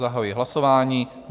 Zahajuji hlasování.